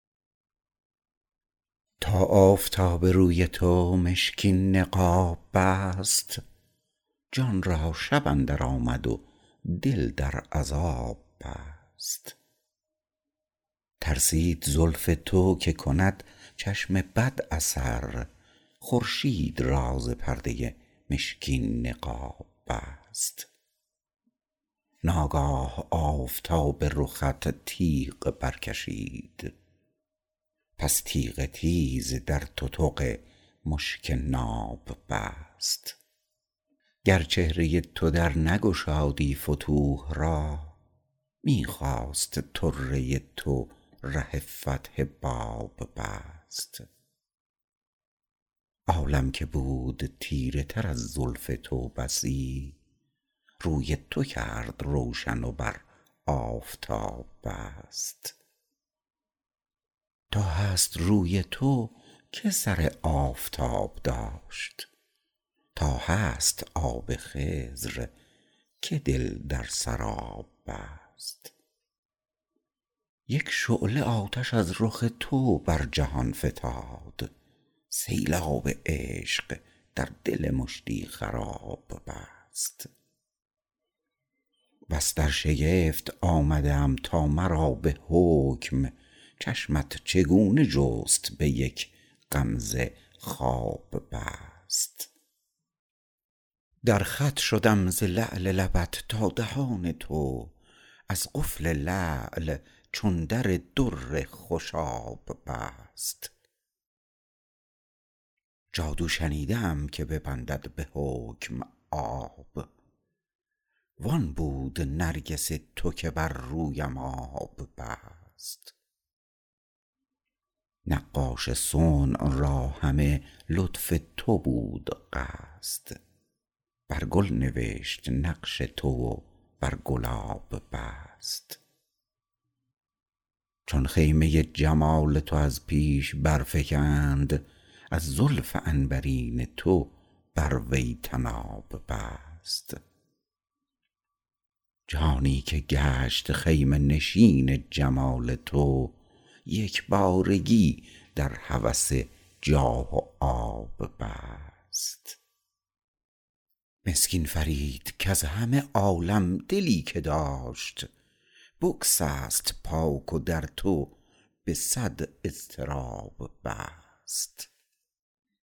تا آفتاب روی تو مشکین نقاب بست جان را شب اندر آمد و دل در عذاب بست ترسید زلف تو که کند چشم بد اثر خورشید را ز پرده مشکین نقاب بست ناگاه آفتاب رخت تیغ برکشید پس تیغ تیز در تتق مشک ناب بست گر چهره تو در نگشادی فتوح را می خواست طره تو ره فتح باب بست عالم که بود تیره تر از زلف تو بسی روی تو کرد روشن و بر آفتاب بست تا هست روی تو که سر آفتاب داشت تا هست آب خضر که دل در سراب بست یک شعله آتش از رخ تو بر جهان فتاد سیلاب عشق در دل مشتی خراب بست بس در شگفت آمده ام تا مرا به حکم چشمت چگونه جست به یک غمزه خواب بست در خط شدم ز لعل لبت تا دهان تو از قفل لعل چو در در خوشاب بست جادو شنیده ام که ببندد به حکم آب وان بود نرگس تو که بر رویم آب بست نقاش صنع را همه لطف تو بود قصد بر گل نوشت نقش تو و بر گلاب بست چون خیمه جمال تو از پیش برفگند از زلف عنبرین تو بر وی طناب بست جانی که گشت خیمه نشین جمال تو یکبارگی در هوس جاه و آب بست مسکین فرید کز همه عالم دلی که داشت بگسست پاک و در تو به صد اضطراب بست